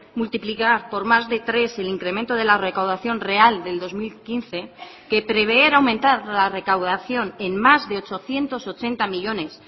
multiplicar por más de tres el incremento de la recaudación real del dos mil quince que prever aumentar la recaudación en más de ochocientos ochenta millónes